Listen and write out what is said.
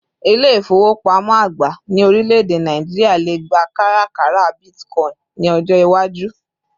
İle-ifowopamo àgbà ní orileede Nigeria lè gbà kárakára Bitcoin ni ọjọ iwaju